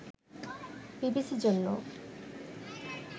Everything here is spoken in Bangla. বিবিসি’র জন্য